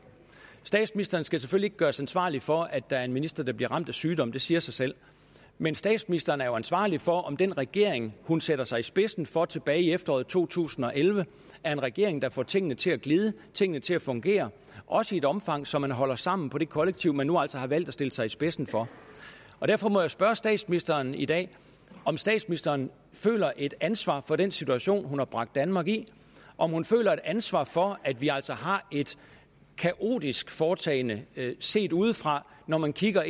statsministeren skal selvfølgelig ikke gøres ansvarlig for at der er en minister der bliver ramt af sygdom det siger sig selv men statsministeren er jo ansvarlig for om den regering hun satte sig i spidsen for tilbage i efteråret to tusind og elleve er en regering der får tingene til at glide tingene til at fungere også i et omfang så man holder sammen på det kollektiv man nu altså har valgt at stille sig i spidsen for derfor må jeg spørge statsministeren i dag om statsministeren føler et ansvar for den situation hun har bragt danmark i om hun føler et ansvar for at vi altså har et kaotisk foretagende set udefra når man kigger